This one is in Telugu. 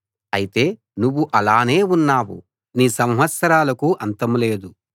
అయితే నువ్వు అలానే ఉన్నావు నీ సంవత్సరాలకు అంతం లేదు